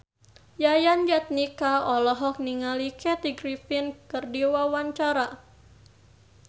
Yayan Jatnika olohok ningali Kathy Griffin keur diwawancara